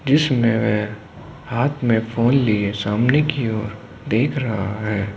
जिसमें हाथ में फ़ोन लिए सामने की ओर देख रहा है।